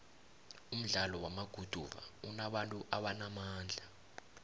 umdlalo wamaguduva unabantu abanamandla